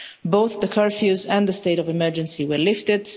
Both the curfews and the state of emergency were lifted